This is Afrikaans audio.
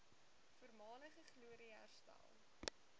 voormalige glorie herstel